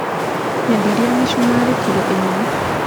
Nyenderia mĩcumarĩ kiro ĩmwe.